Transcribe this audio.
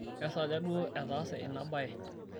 kesaaja duo etaase ina baye?